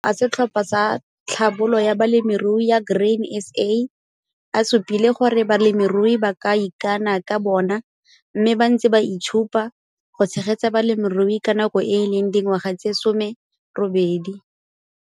Makoko a setlhopha sa Tlhabolo ya Balemirui ya Grain SA a supile gore balemirui ba ka ikana ka bona mme ba ntse ba 'itshupa' go tshegetsa balemirui ka nako e e leng dingwaga tse 18.